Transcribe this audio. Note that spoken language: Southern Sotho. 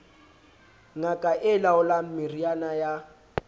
ngaka e laolang meriana ya